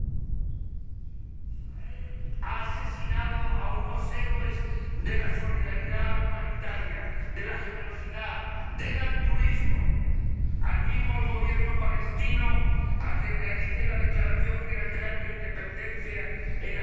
Señor Presidente, Israel ha asesinado a unos héroes de la solidaridad humanitaria, de la generosidad, del altruismo. Animo al Gobierno palestino a que realice la declaración unilateral de independencia en las fronteras de